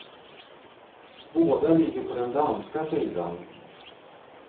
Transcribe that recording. Båda ligger på den danska sidan.